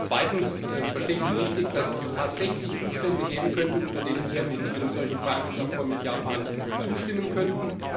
Zweitens Verstehe ich Sie richtig, dass es tatsächlich Umstände geben könnte, unter denen Sie am Ende einem solchen Freihandelsabkommen mit Japan zustimmen könnten?